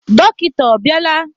Dọkịta ọ bịala?